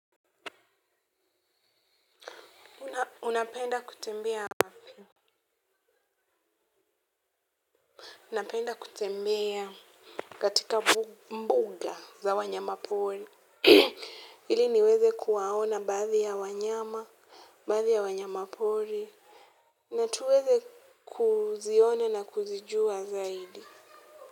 Unapenda kutembea wapi? Napenda kutembea katika mbuga za wanyama pori. Ili niweze kuwaona baadhi ya wanyama, baadhi ya wanyama pori. Na tuweze kuziona na kuzijua zaidi.